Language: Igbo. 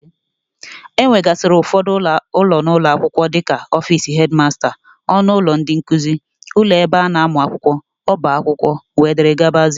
E nwegasịrị ụfọdụ ụlọ n'ụlọ akwụkwọ dịka ọfici hedmasta, ọnụ ụlọ ndị nkuzi, ụlọ ebe a na-amụ akwụkwọ, ọba akwụkwọ wdg.